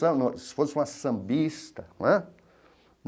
Se fosse uma sambista não é.